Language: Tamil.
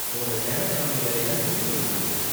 உன்னோட ஸ்டாண்ட் அப் காமெடி வேலை எல்லாம் எப்படி போய்ட்டு இருக்கு?